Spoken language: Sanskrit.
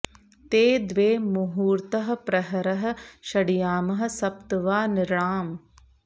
ते द्वे मुहूर्तः प्रहरः षड्यामः सप्त वा नृणाम्